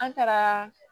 An taara